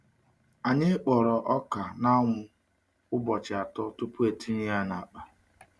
Anyị kpọrọ ọka n’anwụ ụbọchị atọ tupu etinye ya n’akpa.